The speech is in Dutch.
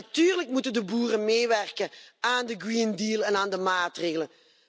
Natuurlijk moeten de boeren meewerken aan de Green Deal en aan de maatregelen.